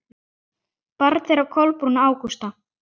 Barn þeirra Kolbrún Ágústa.